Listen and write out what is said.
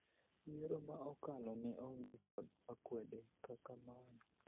yiero ma okalo ne onge kod akwede kaka mae